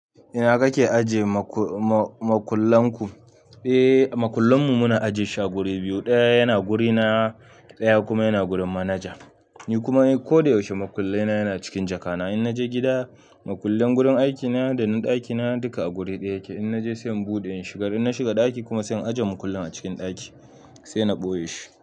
Ina kake ajiye makullan ku? Eh, makullan mu muna ajiye su a wuri biyu. Ɗaya yana wurina, ɗaya kuma yana wurin manaja. Ni kuma ko da yaushe makullina yana cikin jakana. In naje gida makullan gurin aikina da na ɗaki na duka a guri ɗaya yake. In naje sai in buɗe in shiga, in na shiga ɗaki kuma zan ajiye makullin a cikin ɗaki sai na ɓoye shi.